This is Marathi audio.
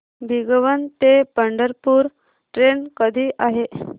भिगवण ते पंढरपूर ट्रेन कधी आहे